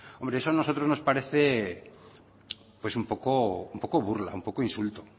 hombre eso a nosotros nos parece pues un poco burla un poco insulto